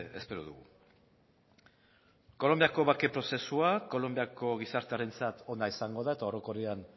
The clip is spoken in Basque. espero dugu kolonbiako bake prozesua kolonbiako gizartearentzat ona izango da eta orokorrean